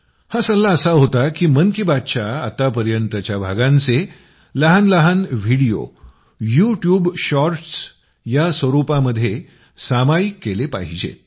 हा सल्ला असा होता की मन की बातच्या आत्तापर्यंतच्या भागांचे लहानलहान व्हिडीओ यू ट्यूब शॉर्टस् या स्वरूपामध्ये सामायिक केले पाहिजेत